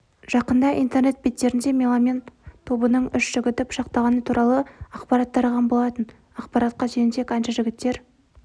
жақында интернет беттерінде меломен тобының үш жігіті пышақталғаны туралы ақпарат тараған болатын ақпаратқа сүйенсек әнші жігіттер